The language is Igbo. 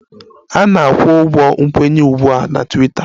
A na-akwụ ụgwọ nkwenye ugbu a na Twiita